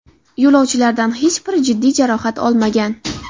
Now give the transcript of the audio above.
Yo‘lovchilardan hech biri jiddiy jarohat olmagan.